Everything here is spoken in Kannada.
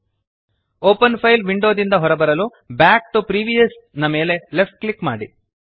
ಓಪನ್ ಫೈಲ್ ವಿಂಡೋ ದಿಂದ ಹೊರಬರಲು ಬ್ಯಾಕ್ ಟಿಒ ಪ್ರಿವಿಯಸ್ ಮೇಲೆ ಲೆಫ್ಟ್ ಕ್ಲಿಕ್ ಮಾಡಿ